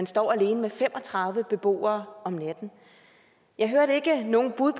står alene med fem og tredive beboere om natten jeg hørte ikke noget bud